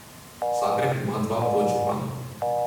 Zagreb ima dva podžupana.